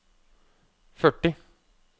førti